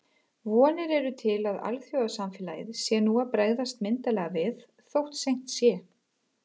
Vonir eru til að alþjóðasamfélagið sé nú að bregðast myndarlega við, þótt seint sé.